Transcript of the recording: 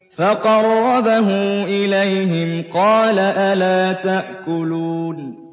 فَقَرَّبَهُ إِلَيْهِمْ قَالَ أَلَا تَأْكُلُونَ